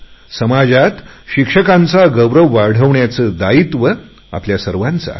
समाजात शिक्षकांचा गौरव वाढवण्याची जबाबदारी आपल्या सर्वांची आहे